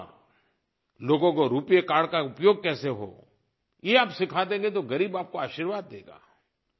एक बार लोगों को रूपे कार्ड का उपयोग कैसे हो ये आप सिखा देंगे तो ग़रीब आपको आशीर्वाद देगा